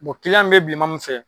min bɛ bilenman min fɛ